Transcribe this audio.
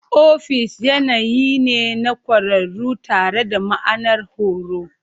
Ofis yanayi ne na ƙwararru tare da ma'anar horo.